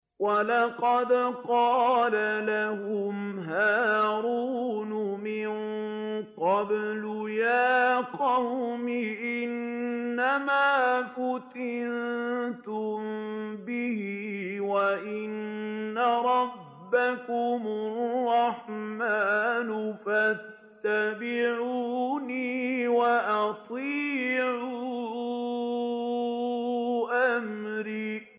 وَلَقَدْ قَالَ لَهُمْ هَارُونُ مِن قَبْلُ يَا قَوْمِ إِنَّمَا فُتِنتُم بِهِ ۖ وَإِنَّ رَبَّكُمُ الرَّحْمَٰنُ فَاتَّبِعُونِي وَأَطِيعُوا أَمْرِي